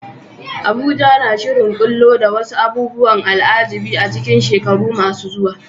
Abuja na shirin ɓullo da wasu abubuwan al'ajabi a cikin shekaru masu zuwa.